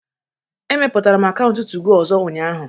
Emepụtara m akaụntụ 2go ọzọ ụnyaahụ